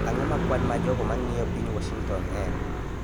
Ang�o ma kwan ma jogo ma ng�iyo piny Washington en?